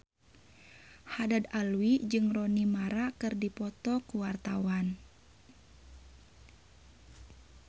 Haddad Alwi jeung Rooney Mara keur dipoto ku wartawan